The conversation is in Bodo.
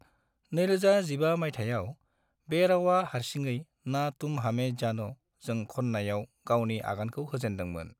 2015 मायथाइयाव, बे रावआ हारसिङै "ना तुम हमें जान'" जों खननायाव गावनि आगानखौ होजेनदोंमोन।